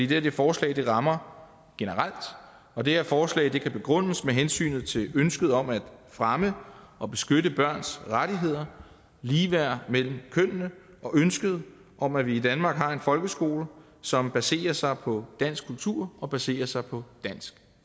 det her forslag rammer generelt og det her forslag kan begrundes med hensynet til ønsket om at fremme og beskytte børns rettigheder ligeværd mellem kønnene og ønsket om at vi i danmark har en folkeskole som baserer sig på dansk kultur og baserer sig på dansk